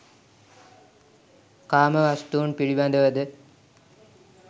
කාම වස්තුන් පිළිබඳවද